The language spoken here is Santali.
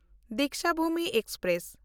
ᱫᱤᱠᱥᱟᱵᱷᱩᱢᱤ ᱮᱠᱥᱯᱨᱮᱥ